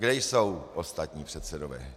Kde jsou ostatní předsedové?